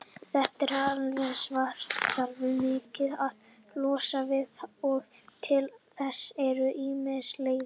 Þetta affallsvatn þarf virkjunin að losna við, og til þess eru ýmsar leiðir.